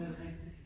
Er det rigtig!